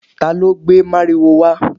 talo gbé mariwo wa?